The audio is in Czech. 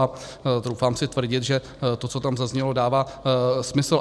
A troufám si tvrdit, že to, co tam zaznělo, dává smysl.